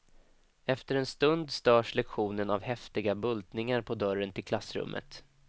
Efter en stund störs lektionen av häftiga bultningar på dörren till klassrummet.